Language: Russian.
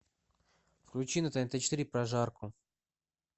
включи на тнт четыре прожарку